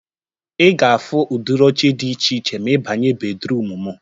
Ị ga-afu udiri oche dị iche iche ma ịbanye bedruum mụ